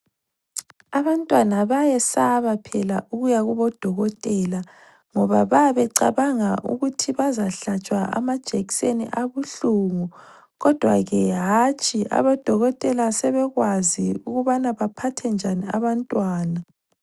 Abantwana bayesaba phela ukuyakubodokotela ngoba babecabanga ukuthi bazahlatshwa amajekiseni abuhlungu kodwa ke hatshi abodokotela sebekwazi ukubanabaphathe njani abantwana